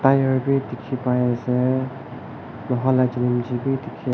tyre bi diki pai asae loha laka chilimchi bi dikae.